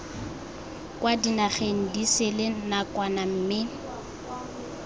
kwa dinageng disele nakwana mme